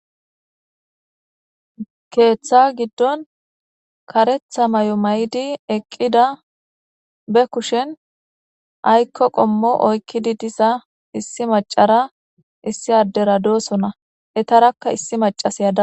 Keththa giddonni kareththa mayo mayid eqqida be kushenni ayiko qommo oyikkidi diza issi macara issi adera dosona .ettarakka issi macashshiya dawus.